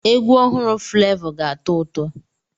Egwu ọhụrụ Fulevo ga-atọ ụtọ.